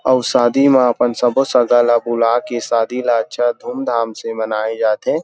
अऊ शादी में अपन सबो सगा ला बुला के शादी ला अच्छा धूम-धाम से मनाये जाथे ।